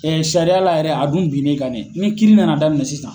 Ɛɛ sariyala yɛrɛ , a dun bin n'i kan. Ni kiiri nana daminɛ sisan